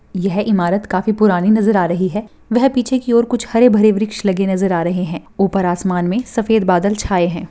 यह ईमारत काफी पुराणी नज़र आ रही है व पीछे की और हरे भरे वृक्ष लगे नज़र आ रहे है ऊपर आसमान में सफेद बादल छाये है।